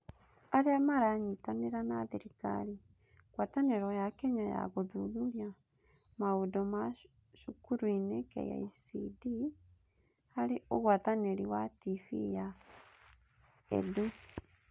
Arĩa maranyitanĩra na thirikari: Ngwatanĩro ya Kenya ya Gũthuthuria Maũndũ ma Cukurunĩ (KICD) (harĩ ũgwatanĩri na TV ya EDU).